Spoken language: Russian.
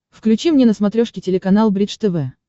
включи мне на смотрешке телеканал бридж тв